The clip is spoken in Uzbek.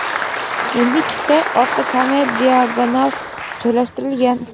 Endi ikkita orqa kamera diagonal joylashtirilgan.